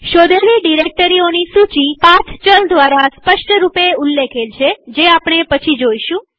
શોધેલી ડિરેક્ટરીઓની સૂચી પથ ચલ દ્વારા સ્પષ્ટરૂપે ઉલ્લેખેલ છેજે આપણે પછી જોઈશું